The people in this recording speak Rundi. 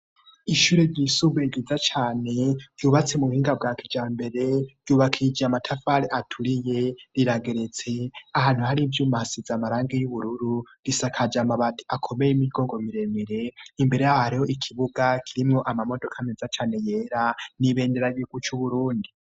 Ishure ryisubue giza cane yubatse mu buhinga bwa kija mbere yubakije amatafare aturiye rirageretse ahantu hari ivyoumuahasiza amaranga y'ubururu risakaja amabati akomeye imigongo miremere imbere ahariho ikibuga kirimwo amamodoka ameza cane yera nibendera gibu c'uburundi.